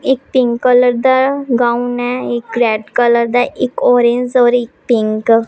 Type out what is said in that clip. एक pink colour दा gown है एक रेड कलर दा एक ऑरेंज और एक पिंक ।